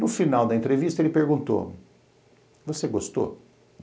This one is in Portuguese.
No final da entrevista, ele perguntou, você gostou?